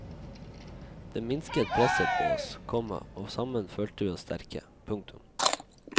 Det minsket presset på oss, komma og sammen følte vi oss sterke. punktum